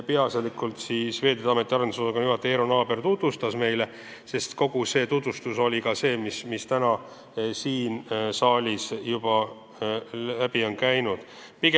Peaasjalikult tutvustas seda meile Veeteede Ameti arendusosakonna juhataja Eero Naaber, aga kogu see tutvustus on juba täna siit saalist läbi käinud.